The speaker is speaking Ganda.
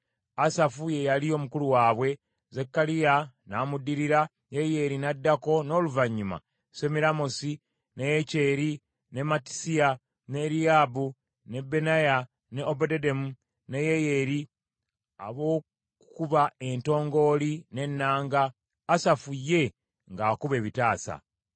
Asafu ye yali omukulu waabwe, Zekkaliya n’amuddirira, Yeyeeri n’addako, n’oluvannyuma Semiramosi, ne Yekyeri, ne Mattisiya, ne Eriyaabu, ne Benaya, ne Obededomu, ne Yeyeri, abookukuba entongooli n’ennanga, Asafu ye ng’akuba ebitaasa.